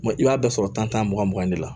i b'a bɛɛ sɔrɔ tan mugan mugan de la